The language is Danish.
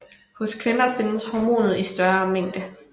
Hos kvinder findes hormonet i større mængde